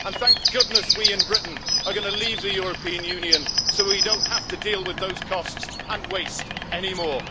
Thank goodness we in Britain are going to leave the European Union, so that we don't have to deal with those costs and waste anymore.